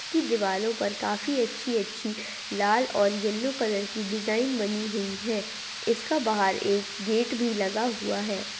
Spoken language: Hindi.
इसकी दीवालों पर काफी अच्छी-अच्छी लाल और येलो कलर की डिजाइन बनी हुई है इसका बाहर एक गेट भी लगा हुआ है।